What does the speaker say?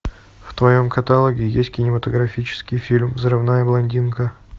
в твоем каталоге есть кинематографический фильм взрывная блондинка